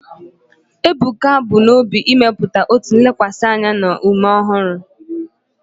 Ebuka bu n'obi ịmepụta otu lekwasịrị anya na ume ọhụrụ.